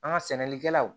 An ka sɛnɛlikɛlaw